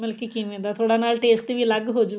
ਮਤਲਬ ਕਿ ਕਿਵੇਂ ਦਾ ਥੋੜਾ ਨਾਲੇ taste ਵੀ ਅਲੱਗ ਹੋਜੂਗਾ